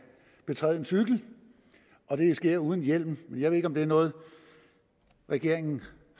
træde en cykel og det sker uden hjelm men jeg ved ikke om det er noget regeringen